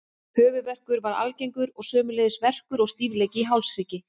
Höfuðverkur var algengur og sömuleiðis verkur og stífleiki í hálshrygg.